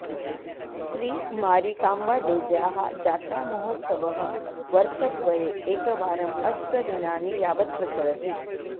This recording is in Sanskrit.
श्री मारिकाम्बादेव्याः जात्रामहोत्सवः वर्षद्वये एकवारम् अष्टदिनानि यावत् प्रचलति